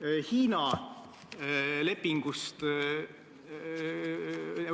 et minister komisjonis ütles, et tegemist on kiireloomuliste ettepanekutega.